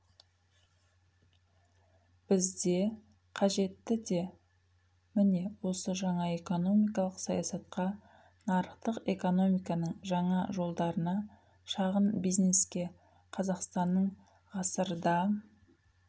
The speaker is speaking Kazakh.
бізге қажеті де міне осы жаңа экономикалық саясатқа нарықтық экономиканың жаңа жолдарына шағын бизнеске қазақстанның ғасырда